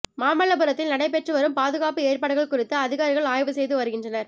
மாமல்லபுரத்தில் நடைபெற்றுவரும் பாதுகாப்பு ஏற்பாடுகள் குறித்து அதிகாரிகள் ஆய்வு செய்து வருகின்றனர்